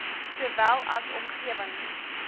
sowel as omgewings